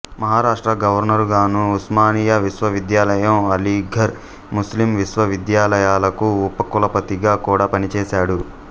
మహారాష్ట్ర గవర్నరుగాను ఉస్మానియా విశ్వవిద్యాలయం అలీఘర్ ముస్లిం విశ్వవిద్యాలయాలకు ఉపకులపతిగా కూడా పనిచేశాడు